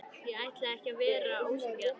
Ég ætlaði ekki að vera ósanngjarn.